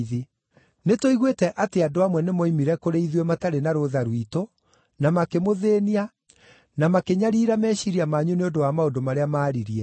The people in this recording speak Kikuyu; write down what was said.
Nĩtũiguĩte atĩ andũ amwe nĩmooimire kũrĩ ithuĩ matarĩ na rũũtha rwitũ, na makĩmũthĩĩnia, na makĩnyariira meciiria manyu nĩ ũndũ wa maũndũ marĩa maaririe.